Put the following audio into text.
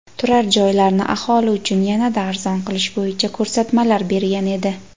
turar joylarni aholi uchun yanada arzon qilish bo‘yicha ko‘rsatmalar bergan edi.